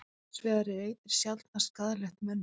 Hins vegar er eitrið sjaldnast skaðlegt mönnum.